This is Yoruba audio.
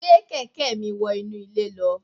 Gbé kẹ̀kẹ́ mi wọ inú ilé lọ